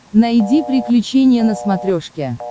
найди приключения на смотрешке